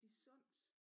I Sunds